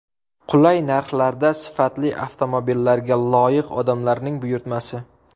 Qulay narxlarda sifatli avtomobillarga loyiq odamlarning buyurtmasi.